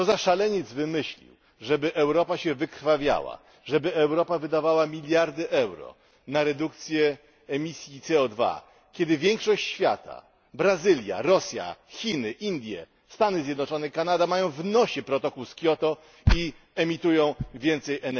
Co za szaleniec wymyślił, żeby Europa się wykrwawiała, żeby Europa wydawała miliardy euro na redukcję emisji CO 2 kiedy większość świata Brazylia, Rosja, Chiny, Indie, Stany Zjednoczone, Kanada mają w nosie protokół z Kioto i emitują więcej CO